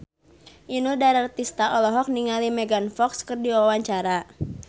Inul Daratista olohok ningali Megan Fox keur diwawancara